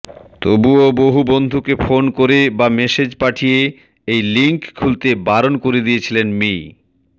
তবুও বহু বন্ধুকে ফোন করে বা মেসেজ পাঠিয়ে ওই লিঙ্ক খুলতে বারণ করে দিয়েছিলেন মি